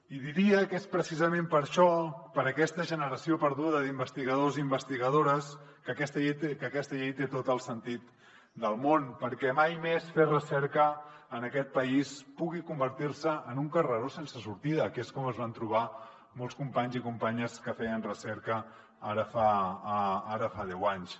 i diria que és precisament per això per aquesta generació perduda d’investigadors i investigadores que aquesta llei té tot el sentit del món perquè mai més fer recerca en aquest país pugui convertir se en un carreró sense sortida que és com es van trobar molts companys i companyes que feien recerca ara fa deu anys